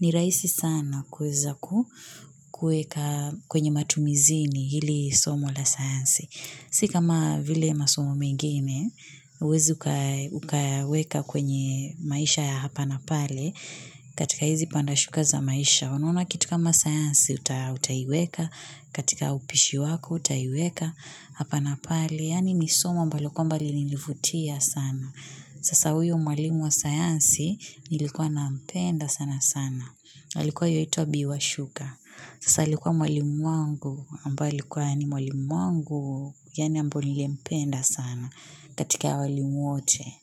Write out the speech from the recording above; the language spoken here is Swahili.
ni rahisi sana kuweza kueka kwenye matumizini hili somo la sayansi sikama vile masomo mengine uwezi ukayaweka kwenye maisha ya hapa na pale katika hizi pandashukaza maisha unaona kitu kama sayansi utaiweka katika upishi wako utaiweka hapa na pale yani nisomo ambalo kwamba lilinivutia sana sasa huyu mwalimu wa sayansi nilikuwa na mpenda sana sana alikuwa yaituwa bi washuka sasa alikuwa mwalimu wangu ambaye alikuwa yani mwalimu wangu yani ambaye niliye mpenda sana katika waalimu wote.